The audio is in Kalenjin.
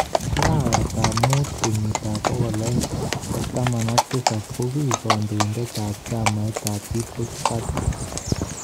Arawet ab mamuut kenyit ab 2017 ko kiik kandoindet ab chamit ab "People's Party"